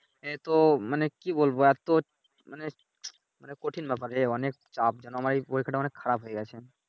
এতো মানি কি বলবো এতো মানে মানে কঠিন ব্যাপার রে অনেক চাপ জানো আমার এই পরীক্ষাটা অনেক খারাপ হয়ে গেছে।